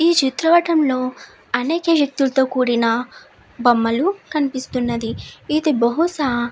ఈ చిత్రపటం లో అనేక వ్యక్తులతో కూడిన బొమ్మలు కనిపిస్తున్నది ఇది బహుశా --